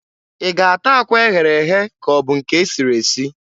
Ị ga-ata akwa e ghere eghe ka ọ bụ nke e siri esi?